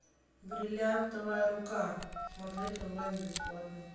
бриллиантовая рука смотреть онлайн бесплатно